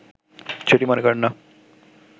সেটি মনে করেন না